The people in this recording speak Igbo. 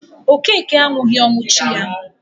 Okeke anwughi ọnwụ chi ya